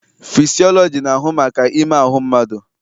Fịsịọlọji na-ahụ maka ime ahụ mmadụ.